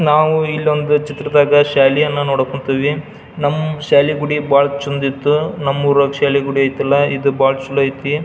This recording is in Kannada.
ನಾವು ಇಲ್ಲೊಂದ್ ಚಿತ್ರದಾಗ ಶಾಲೆಯನ್ನ ನೋಡಕ್ ಹೊಂಟಿವಿ ನಮ್ಮ ಶಾಲೆಗುಡಿ ಬಹಳ ಚಂದ್ ಇತ್ ನಮ್ಮೂರಾಗ್ ಶಾಲೆಗುಡಿ ಐತಲ್ಲ ಇದು ಬಹಳ ಚಲೋ ಐತಿ.